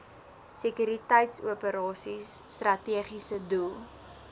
sekuriteitsoperasies strategiese doel